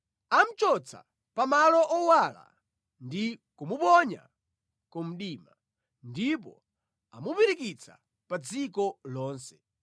Amuchotsa pa malo owala ndi kumuponya ku mdima, ndipo amupirikitsa pa dziko lonse.